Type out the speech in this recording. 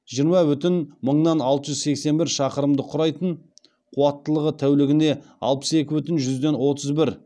жиырма бүтін мыңнаң алты жүз сексен бір шақырымды құрайтын қуаттылығы тәулігіне алпыс екі бүтін жүзден отыз бір